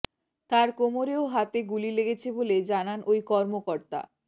তার কোমরে ও হাতে গুলি লেগেছে বলে জানান ওই কর্মকর্তা